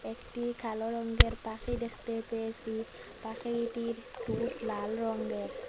একটি কালো রঙ্গের পাখি দেখতে পেয়েসি পাখিটির টুঁট লাল রঙ্গের।